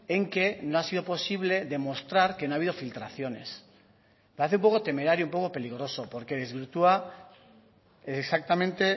en que no ha sido posible demostrar que no ha habido filtraciones me parece un poco temerario un poco peligroso porque desvirtúa exactamente